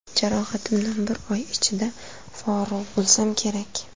Jarohatimdan bir oy ichida forig‘ bo‘lsam kerak.